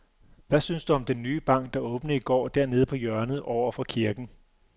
Hvad synes du om den nye bank, der åbnede i går dernede på hjørnet over for kirken?